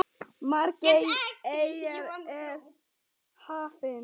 Margar eyjar eru í hafinu.